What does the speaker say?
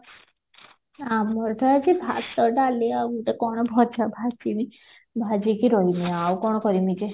ଆମର ତ ଆଜି ଭାତ ଡାଲି ଆଉ ମୁଁ ତ କଣ ଭଜା ଭାଜିମି ଭାଜିକି ରହିମି ଆଉ କଣ କରିବି ଯେ